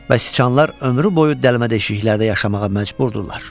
Bəsicxanlar ömrü boyu dəlmə-deşiklərə yaşamağa məcburdurlar.